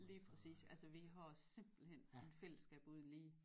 Lige præcis altså vi har simpelthen en fællesskab uden lige